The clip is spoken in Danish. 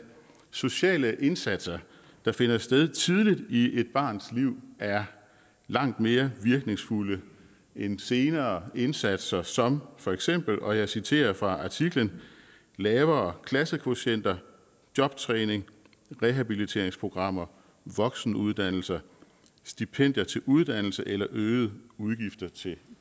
sociale indsatser der finder sted tidligt i et barns liv er langt mere virkningsfulde end senere indsatser som for eksempel og jeg citerer fra artiklen lavere klassekvotienter jobtræning rehabiliteringsprogrammer voksenuddannelser stipendier til uddannelse eller øgede udgifter til